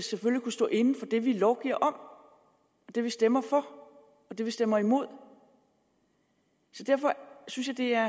kunne stå inde for det vi lovgiver om og det vi stemmer for og det vi stemmer imod derfor synes jeg